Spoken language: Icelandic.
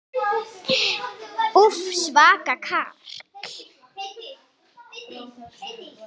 Úff, svaka karl.